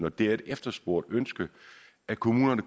og det er et efterspurgt ønske at kommunerne